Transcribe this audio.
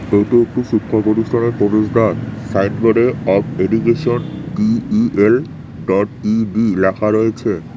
এটি একটি শিক্ষা প্রতিষ্ঠানের প্রবেশদ্বার সাইনবোর্ডে of education D E L dot E D লেখা রয়েছে।